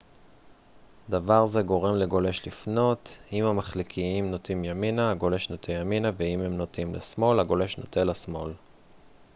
דבר זה גורם לגולש לפנות אם המחליקיים נוטים ימינה הגולש נוטה ימינה ואם הם נוטים לשמאל הגולש נוטה לשמאל